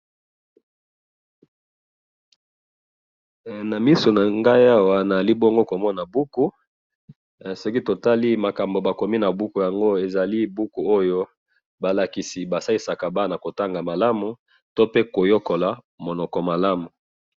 he na misu nangayi awa nazali bongo komona buku soki tomoni makambo bakomi na buku balakisaka bana ndenge ya kotanga malamu pe ndenge ya koyekola malamu